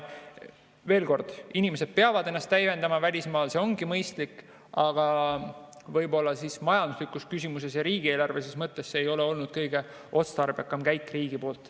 Veel kord: inimesed peavad ennast välismaal täiendama, see on mõistlik, aga võib-olla majanduslikus küsimuses ja riigieelarvelises mõttes ei ole see olnud kõige otstarbekam käik riigi poolt.